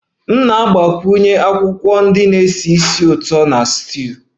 M ga-agbakwunye akwụkwọ ndị na-esi ísì ụtọ na stew